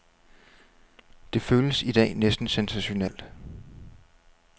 Det føles i dag næsten sensationelt.